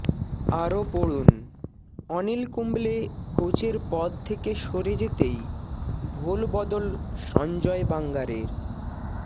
আরও পড়ুন অনিল কুম্বলে কোচের পদ থেকে সরে যেতেই ভোলবদল সঞ্জয় বাঙ্গারের